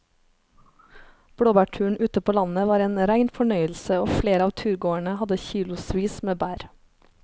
Blåbærturen ute på landet var en rein fornøyelse og flere av turgåerene hadde kilosvis med bær.